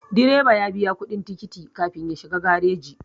Direba ya biya kuɗin tikiti kafin ya shiga gareji